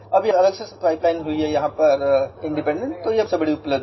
Now an Independent pipeline has been constructed